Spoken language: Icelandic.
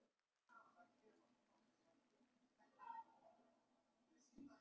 Ertu tilbúinn að nefna einhver nöfn ennþá?